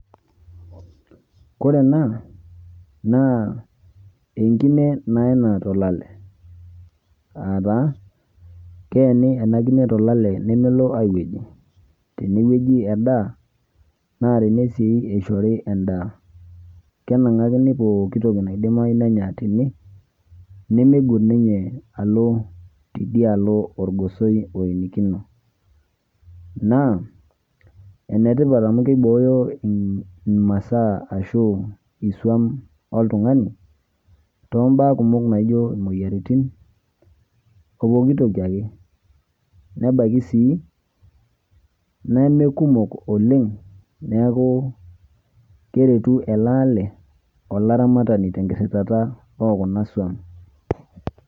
Koree ena na enkune naena tolale, aataa keeni enakine tolale nemelo aiweji tenewueji edaa natene si ishori endaa, kenangakini pooki toki naidimayu nenya tene nimeibung ninye anya tidialo orgosoi oenikino na enetipat amu kibooyo masaa ashu kiswan oltungani tombaa kumok naijo moyiaritin, opooki toki ake nebaki sii nemekukok oleng neaku keretu eleale olaramatani tenkirirata okuna swan.